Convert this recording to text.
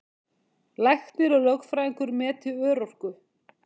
Læknir og lögfræðingur meti örorku